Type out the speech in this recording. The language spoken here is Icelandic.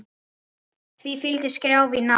Því fylgdi skrjáf í ná